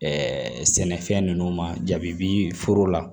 sɛnɛfɛn ninnu ma ja bi foro la